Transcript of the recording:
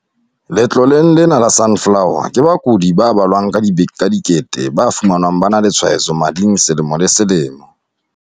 Letloleng lena la Sunflower, ke bakudi ba balwang ka dikete ba fumanwang ba na le tshwaetso mading selemo le selemo.